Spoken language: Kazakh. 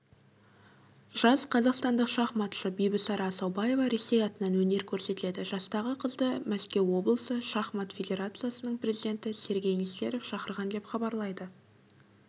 жас қазақстандық шахматшы бибісара асаубаева ресей атынан өнер көрсетеді жастағы қызды мәскеу облысы шахмат федерациясының президенті сергей нестеров шақырған деп хабарлайды